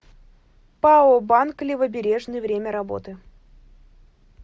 пао банк левобережный время работы